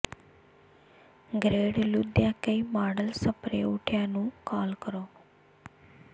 grade ਲੁਦਿਯਾ ਕਈ model spray ਉਠਿਆ ਨੂੰ ਕਾਲ ਕਰੋ